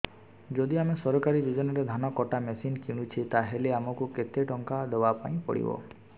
ଯଦି ଆମେ ସରକାରୀ ଯୋଜନାରେ ଧାନ କଟା ମେସିନ୍ କିଣୁଛେ ତାହାଲେ ଆମକୁ କେତେ ଟଙ୍କା ଦବାପାଇଁ ପଡିବ